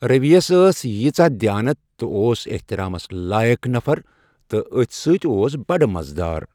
رٔوی یَس ٲس یٖژاہ دیانت تہٕ اوس احترامَس لایق نفر تہٕ أتھۍ سۭتۍ اوس بڑٕ مزٕدار۔